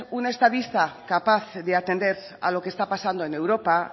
un estadista capaz de atender a lo que está pasando en europa